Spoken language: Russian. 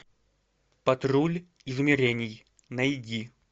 патруль измерений найди